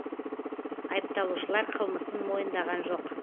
айыпталушылар қылмысын мойындаған жоқ